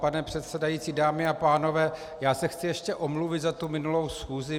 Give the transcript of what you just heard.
Pane předsedající, dámy a pánové, já se chci ještě omluvit za tu minulou schůzi.